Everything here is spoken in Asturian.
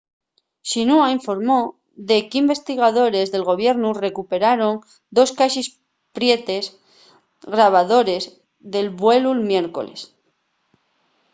xinhua informó de qu’investigadores del gobiernu recuperaron dos caxes prietes” grabadores del vuelu'l miércoles